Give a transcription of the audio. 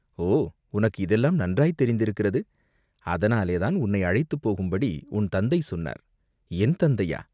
"ஓ உனக்கு இதெல்லாம் நன்றாய்த் தெரிந்திருக்கிறது, அதனாலேதான் உன்னை அழைத்துப் போகும்படி உன் தந்தை சொன்னார்." "என் தந்தையா?